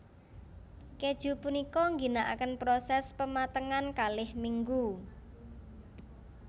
Kèju punika ngginakaken prosès pematengan kalih minggu